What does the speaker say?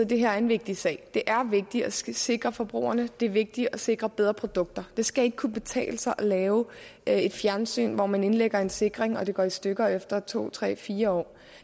det her er en vigtig sag det er vigtigt at skulle sikre forbrugerne det er vigtigt at sikre bedre produkter det skal ikke kunne betale sig at lave et fjernsyn hvor man indlægger en sikring og det går i stykker efter to tre fire år